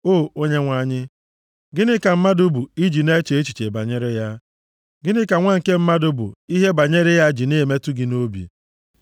O Onyenwe anyị, gịnị ka mmadụ bụ i ji na-eche echiche banyere ya, + 144:3 \+xt Abụ 8:4\+xt* gịnị ka nwa nke mmadụ bụ ihe banyere ya ji na-emetụ gị nʼobi?